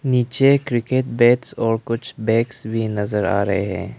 नीचे cricket bats और कुछ बैग्स भी नज़र आ रहे हैं।